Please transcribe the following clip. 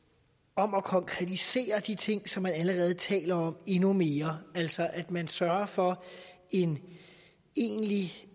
om at konkretisere de ting som man allerede taler om endnu mere altså at man sørger for en egentlig